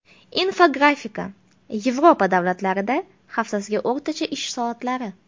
Infografika: Yevropa davlatlarida haftasiga o‘rtacha ish soatlari.